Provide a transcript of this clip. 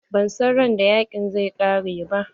Ba san ran da yaƙin zai ƙare ba.